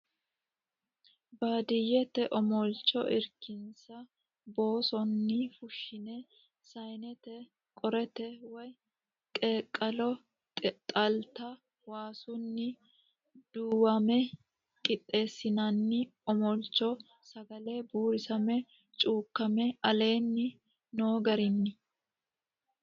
Baadiyyete omolcho irkisinsa boosonni fushshine saanete qorete woy qeeqqalo xalta Waasunni duwame qixxeessinanni omolcho sagale buurisame cuukkame aleenni noo garinni.